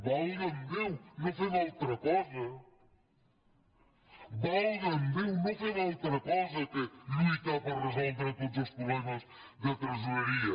valga’m déu no fem altra cosa valga’m déu no fem altra cosa que lluitar per resoldre tots els problemes de tresoreria